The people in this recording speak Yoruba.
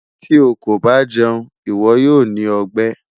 Ti o ko ba jẹun, iwọ yoo ni ọgbẹ